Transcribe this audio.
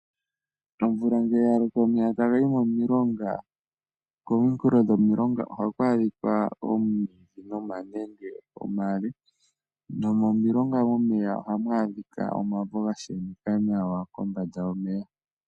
Omvula ngele ya loko omeya tagayi momilonga kominkulo dhomilonga ohaku adhika omwiidhi nomanenge omale nomomilonga momeya ohamu adhika omavo ga sheneka nawa kombanda yomeya.